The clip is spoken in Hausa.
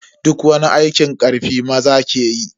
Duk wani aikin karfi maza ke yi.